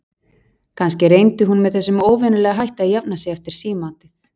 Kannski reyndi hún með þessum óvenjulega hætti að jafna sig eftir símaatið.